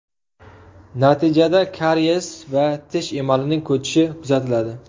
Natijada kariyes va tish emalining ko‘chishi kuzatiladi.